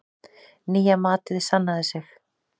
Nýja matið sannaði sig.